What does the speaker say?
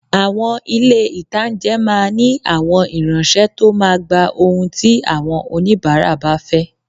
Àwọn ilé-ìtánjẹ máa ní àwọn ìránsẹ́ tó máa gba ohun tí àwọ́n òníbàárà fẹ́